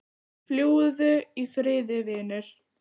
Fljúgðu í friði vinur.